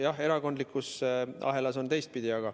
Jah, erakondlikus ahelas on teistpidi.